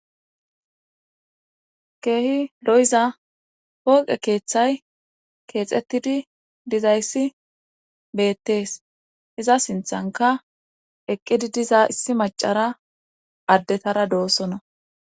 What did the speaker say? Keehi lo'iza hooqe keeththay keexettidi dizayssi beettees iza sinthanka eqqidi diza issi macara addetara doossona.